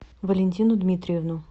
валентину дмитриевну